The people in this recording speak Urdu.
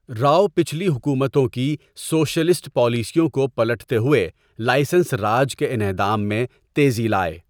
راؤ پچھلی حکومتوں کی سوشلسٹ پالیسیوں کو پلٹتے ہوئے لائسنس راج کے انہدام میں تیزی لائے۔